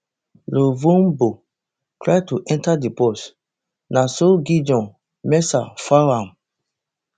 lovombo try to enta di box na so gideon mensah foul am